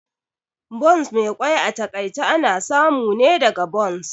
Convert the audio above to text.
Buns Mai kwai a takaice ana samu ne daga buns